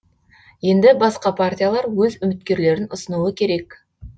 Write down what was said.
енді басқа партиялар өз үміткерлерін ұсынуы керек